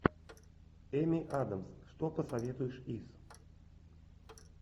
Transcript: эми адамс что посоветуешь из